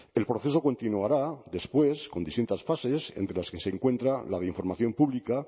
el proceso continuará después con distintas fases entre las que se encuentra la de información pública